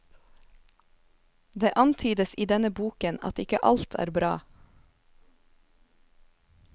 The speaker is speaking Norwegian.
Det antydes i denne boken at ikke alt er bra.